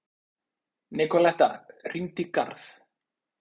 Nikoletta, hringdu í Garð.